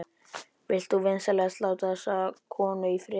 Vilt þú vinsamlegast láta þessa konu í friði!